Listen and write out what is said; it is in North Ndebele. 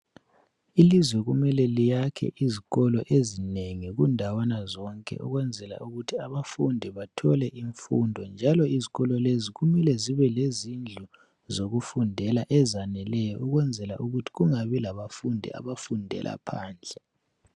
Ilizwe kumele liyakhe izikolo ezinengi kundawana zonke ukwenzela ukuthi abafundi bathole imfundo njalo izikolo lezi kumele zine lezindlu zokufundela ezaneleyo ukwenzela ukuthi kungani labafundi abafundela phandle.